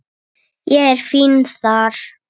Ég er fínn þar.